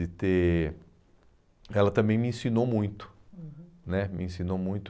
de ter... Ela também me ensinou muito. Uhum. Né, me ensinou muito